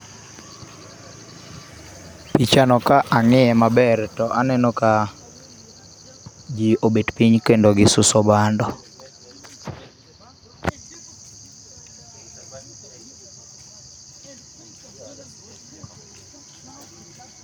Pichano ka ang'iye maber to aneno ka ji obet piny kendo gisuso bando.